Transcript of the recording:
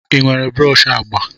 Ị nwere brọsh agba?